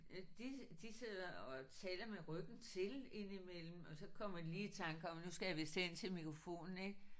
Øh de de sidder og taler med ryggen til indimellem og så kommer de lige i tanke om nu skal jeg vist hen til mikrofonen ik